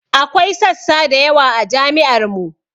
Akwai sassa da yawa a jami'ar mu